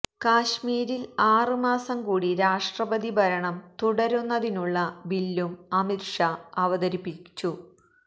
കശ്മീരില് ആറ് മാസം കൂടി രാഷ്ട്രപതി ഭരണം തുടരുന്നതിനുള്ള ബില്ലും അമിത് ഷാ അവതരിപ്പിച്ചു